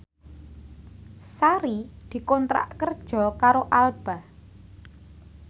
Sari dikontrak kerja karo Alba